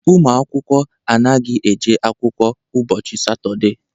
Ụmụ akwụkwọ anaghị eje akwụkwọ ụbọchị Satọde.